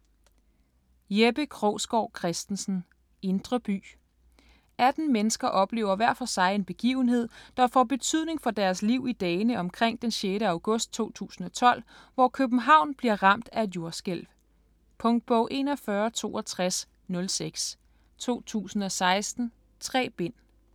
Krogsgaard Christensen, Jeppe: Indre by 18 mennesker oplever hver for sig en begivenhed, der får betydning for deres liv i dagene omkring den 6. august 2012, hvor København bliver ramt af et jordskælv. Punktbog 416206 2016. 3 bind.